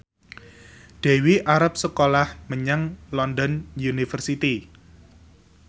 Dewi arep sekolah menyang London University